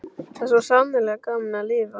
Það var svo sannarlega gaman að lifa!